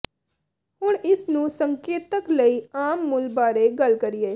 ਹੁਣ ਇਸ ਨੂੰ ਸੰਕੇਤਕ ਲਈ ਆਮ ਮੁੱਲ ਬਾਰੇ ਗੱਲ ਕਰੀਏ